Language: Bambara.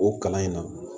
O kalan in na